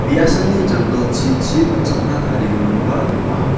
me·asani janggilchi chi watchakna tarigiminba donga.